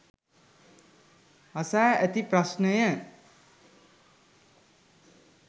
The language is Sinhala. අසා ඇති ප්‍රශ්නය